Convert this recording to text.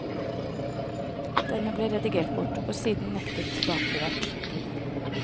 Denne ble redigert bort, og siden nektet tilbakelevert.